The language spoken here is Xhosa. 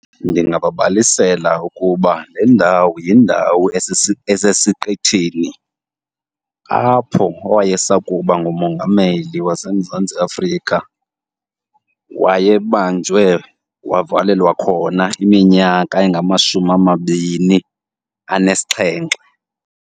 Ndingababalisela ukuba le ndawo yindawo esesiqithini apho owayesakuba ngumongameli waseMzantsi Afrika wayebanjwe wavalelwa khona iminyaka engamashumi amabini anesixhenxe.